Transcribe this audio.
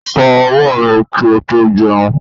Fó owó rè ki o tó jeun